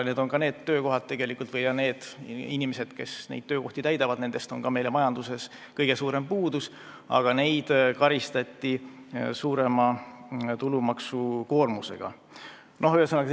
Nendel töökohtadel töötavad inimesed on need, kellest on meie majanduses kõige suurem puudus, aga neid karistati nüüd suurema tulumaksukoormusega.